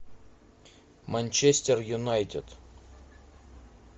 манчестер юнайтед